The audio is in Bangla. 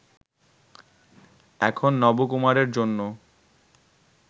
এখন নবকুমারের জন্য